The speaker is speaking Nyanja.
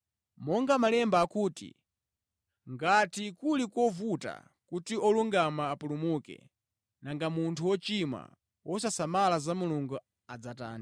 Monga Malemba akuti, “Ngati kuli kovuta kuti olungama apulumuke, nanga munthu wochimwa, wosasamala za Mulungu adzatani?”